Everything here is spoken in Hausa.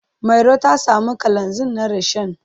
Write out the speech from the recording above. Mairo ta samo kalanzir na rishon.